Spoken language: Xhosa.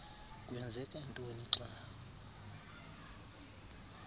kwenzeka ntoni xa